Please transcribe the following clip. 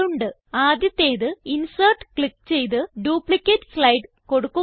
ആദ്യത്തേത് insert click ചെയ്ത് duplicate slide കൊടുക്കുക